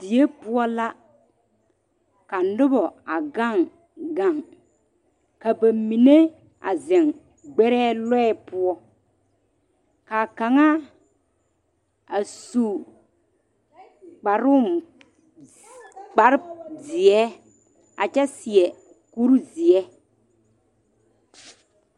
Die poɔ la ka noba a gaŋ gaŋ ka ba mine a zeŋ gbare lɔɛ poɔ kaa kaŋa a su kparo zii kpare ziɛ a kyɛ seɛ kuri ziɛ.